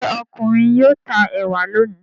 Ṣé ọkùnrin yóò ta ẹ̀wà lónìí?